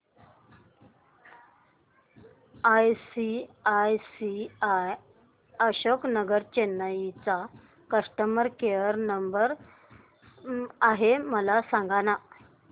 ICICI Ashok Nagar Chennai चा customer care number काय आहे मला सांगाना